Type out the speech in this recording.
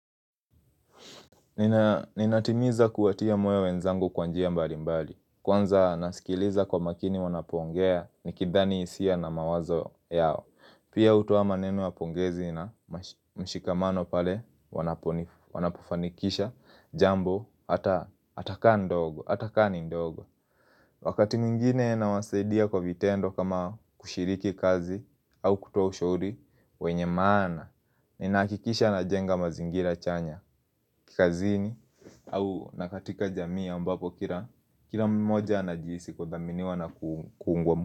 Ninatimiza kuatia mwewe wenzangu kwanjia mbali mbali Kwanza nasikiliza kwa makini wanapongea ni kidhani hisia na mawazo yao Pia utuwa maneno wapongezi na mshikamano pale wanapufanikisha jambo Ataka ndogo, ataka ni ndogo Wakati mwingine na wasaidia kwa vitendo kama kushiriki kazi au kutoa ushuri wenye maana, ninakikisha na jenga mazingira chanya Kikazini au nakatika jamii ambapo kira Kira mmoja na jiisi kwa dhamini wana kuungwa mbapo.